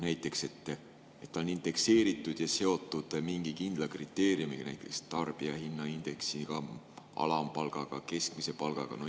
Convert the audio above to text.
Näiteks nii, et ta on indekseeritud ja seotud mingi kindla kriteeriumiga: tarbijahinnaindeksiga, alampalgaga või keskmise palgaga.